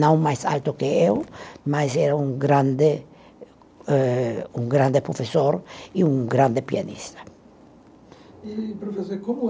não mais alto que eu, mas era um grande eh, um grande professor e um grande pianista. E professor, e como